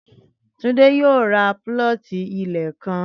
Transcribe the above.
Túndé yóò ro púlọ̀tì ilẹ̀ kan